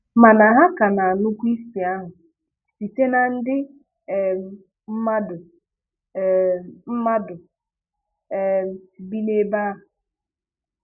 Mana ha ka na-anụkwa isi ahụ site na ndị um mmadụ um mmadụ um bi n'ebe ahụ.